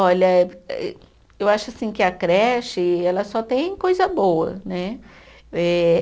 Olha, ê eu acho assim que a creche, ela só tem coisa boa, né? Eh